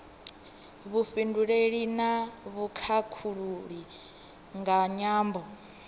vhufhinduleli na vhukhakhulili nga nyambo